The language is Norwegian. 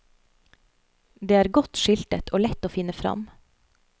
Det er godt skiltet og lett å finne frem.